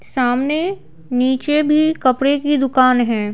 सामने नीचे भी कपड़े की दुकान है।